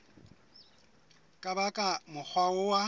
ka ba ka mokgwa wa